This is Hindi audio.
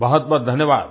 बहुत बहुत धन्यवाद